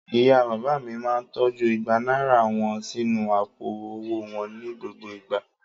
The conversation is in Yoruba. Ìyá-bàbá mi máa tọ́jú igba náírà wọn sínú àpò-owó wọn ní gbogbo ìgbà.